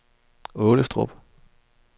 Aalestrup